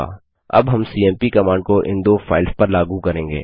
अब हम CMP command को इन दो फाइल्स पर लागू करेंगे